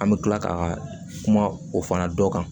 An bɛ tila ka kuma o fana dɔ kan